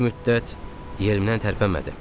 Bir müddət yerimdən tərpənmədim.